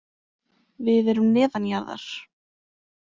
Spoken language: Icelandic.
Við erum neðanjarðar.